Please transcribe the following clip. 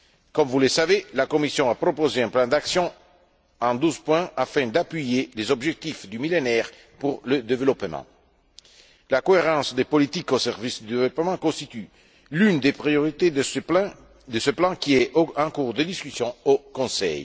Comme vous le savez, la Commission a proposé un plan d'action en douze points afin d'appuyer les objectifs du Millénaire pour le développement. La cohérence des politiques au service du développement constitue l'une des priorités de ce plan qui est en cours de discussion au Conseil.